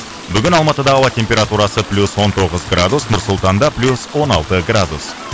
бүгін алматыда ауа температурасы плюс он тоғыз градус нұр сұлтанда плюс он алты градус